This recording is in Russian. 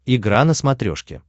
игра на смотрешке